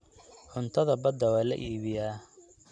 Cuntada badda waa la iibiyaa.